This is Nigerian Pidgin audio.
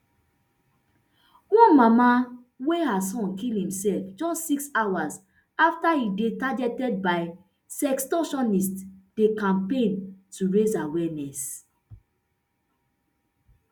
one mama wey her son kill imself just six hours afta e dey targeted by sextortionists dey campaign to raise awareness